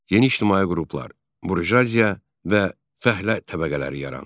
Yeni ictimai qruplar – burjuaziya və fəhlə təbəqələri yarandı.